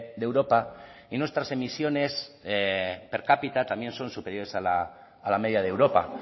de europa y nuestras emisiones per cápita también son superiores a la media de europa